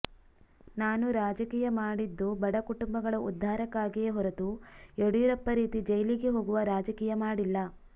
ನಾನು ರಾಜಕೀಯ ಮಾಡಿದ್ದು ಬಡ ಕುಟುಂಬಗಳ ಉದ್ಧಾರಕ್ಕಾಗಿಯೇ ಹೊರತು ಯಡಿಯೂರಪ್ಪ ರೀತಿ ಜೈಲಿಗೆ ಹೋಗುವ ರಾಜಕೀಯ ಮಾಡಿಲ್ಲ